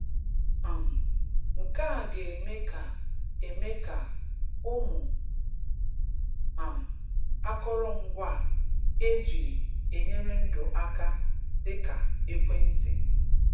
um Nke a ga-eme ga-eme ka ụmụ um akọrọngwa e ji enyere ndụ aka, dịka ekwentị